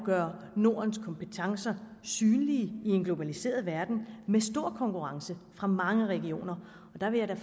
gøre nordens kompetencer synlige i en globaliseret verden med stor konkurrence fra mange regioner der vil jeg da